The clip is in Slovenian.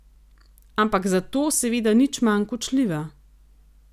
Ampak zato seveda nič manj kočljiva.